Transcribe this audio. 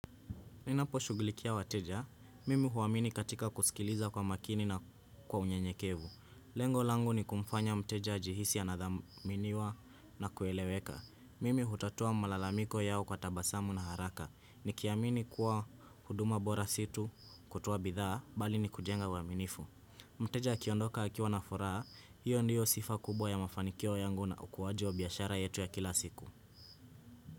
Ninapo shugilikia wateja, mimi huwamini katika kusikiliza kwa makini na kwa unye nyekevu. Lengo langu ni kumfanya mteja ajihisi anadhaminiwa na kueleweka. Mimi hutatua malalamiko yao kwa tabasamu na haraka. Ni kiamini kuwa, huduma bora situ kutoa bidhaa, bali ni kujenga uwaminifu. Mteja akiondoka akiwa nafuraha, hiyo ndiyo sifa kubwa ya mafanikio yangu na ukuwaji wa biashara yetu ya kila siku.